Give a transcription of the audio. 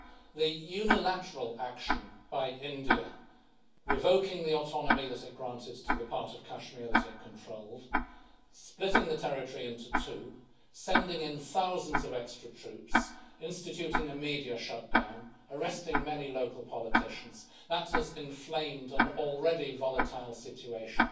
The unilateral action by India revoking the autonomy that it granted to the part of Kashmir that it controlled splitting the territory into two, sending in thousands of extra troops, instituting a media shutdown and arresting many local politicians has inflamed an already volatile situation.